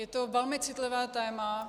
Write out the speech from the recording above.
Je to velmi citlivé téma.